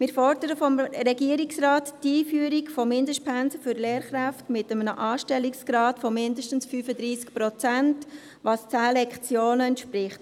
Wir fordern vom Regierungsrat die Einführung von Mindestpensen für Lehrkräfte mit einem Anstellungsgrad von mindestens 35 Prozent, was 10 Lektionen entspricht.